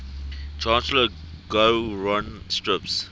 chancellor gowron strips